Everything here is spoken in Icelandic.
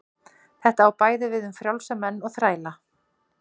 Þetta á bæði við um frjálsa menn og þræla.